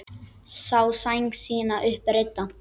Sá sæng sína upp reidda.